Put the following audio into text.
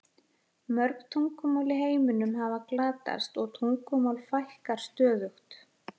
Mörg tungumál í heiminum hafa glatast og tungumálum fækkar stöðugt.